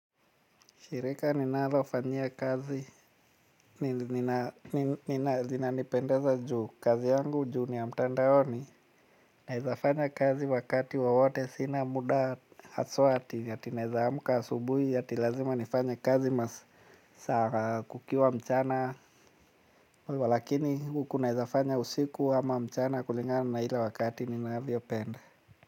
Shirika ninalofanyia kazi, nina, nina, nina, nina, nina, zinanipendeza juu kazi yangu juu ni ya mtandaoni naweza fanya kazi wakati wowote sina muda haswa ati ati naweza amka asubuhi, ati lazima nifanye kazi masaa kukiwa mchana lakini huku naweza fanya usiku ama mchana kulingana na ile wakati ninavyo penda.